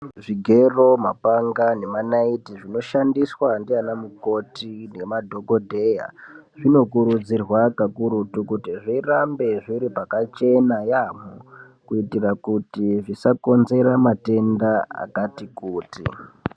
Zvigero mapanga nemanaiti zvinoshandiswa ndiana mukoti nemadhogodheya, zvinokurudzirwa kakurutu kuti zvirambe zviri pakachena yaambo. Kuitira kuti zvisakonzera matenda akati kuti.